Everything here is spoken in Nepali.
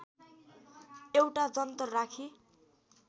एउटा जन्तर राखी